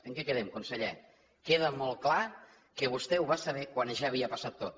en què quedem conseller queda molt clar que vostè ho va saber quan ja havia passat tot